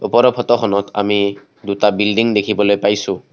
ওপৰৰ ফটোখনত আমি দুটা বিল্ডিং দেখিবলৈ পাইছোঁ।